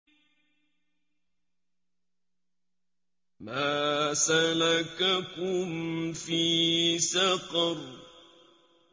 مَا سَلَكَكُمْ فِي سَقَرَ